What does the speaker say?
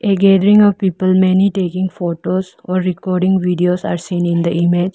A gathering of people many taking photos or recording videos are seen in the image.